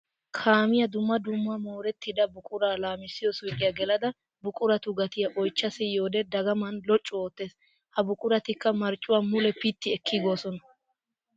Kaamiya dumma dumma mooretidda buqura laamiyo suyqqiya gelada buqurattu gattiya oychcha siyiyoode dagaman loccu ootes. Ha buqurattikka marccuwa mule pitti ekkigosonna.